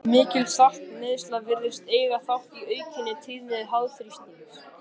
Mikil saltneysla virðist eiga þátt í aukinni tíðni háþrýstings.